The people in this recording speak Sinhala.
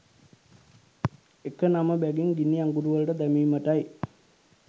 එක නම බැගින් ගිනි අඟුරු වළට දැමීමටයි